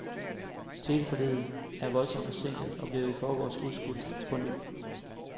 Teleforliget er voldsomt forsinket og blev i forgårs udskudt påny.